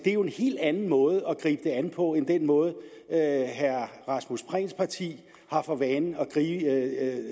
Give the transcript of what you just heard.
jo en helt anden måde at gribe det an på end den måde herre rasmus prehns parti har for vane